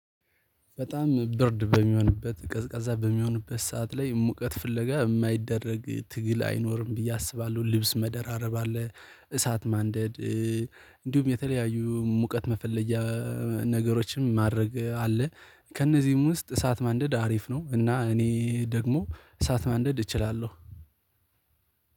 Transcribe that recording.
በጣም ብርድ በሚሆንበት ቀዝቃዛ በሚሆንበት ሰዓት ላይ ሙቀት ፍለጋ የማይደረግ ትግል አይኖርም ብዬ አስባለሁ ልብስ መደራረብ አለ እሳት ማንደድ። እንዲሁም የተለያዩ ሙቀት መፈለጊያ መፈለጊያ ነገሮችን ማድረግ አለ። ከእነዚህም ውስጥ እሳት ማንደድ አሪፍ ነው እና እኔ ደግሞ እሳት ማንደድ እችላለሁ።